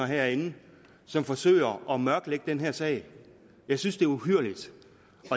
herinde som forsøger at mørklægge den her sag jeg synes det er uhyrligt